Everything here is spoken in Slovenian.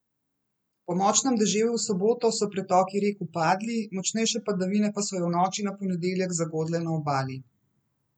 Po močnem deževju v soboto so pretoki rek upadli, močnejše padavine pa so jo v noči na ponedeljek zagodle na Obali.